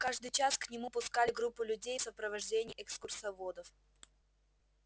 каждый час к нему пускали группу людей в сопровождении экскурсоводов